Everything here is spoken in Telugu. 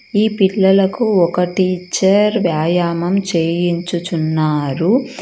ఈ పిల్లలకు ఒక టీచర్ వ్యాయామం చేయించుచున్నారు.